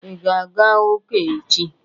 I ga-aga ụka echi?